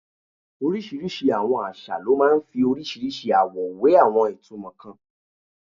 Orísìírísìí àwọn àṣà ló máa ń fi orísìírísìí àwọ̀ we àwọn ìtumọ̀ kan.